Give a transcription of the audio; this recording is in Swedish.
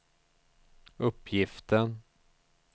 uppgiften